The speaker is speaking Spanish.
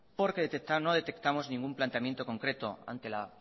porque detectar no detectamos ningún planteamiento concreto ante la